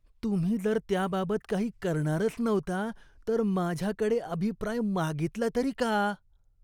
तुम्ही जर त्याबाबत काही करणारच नव्हता तर माझ्याकडे अभिप्राय मागितला तरी का?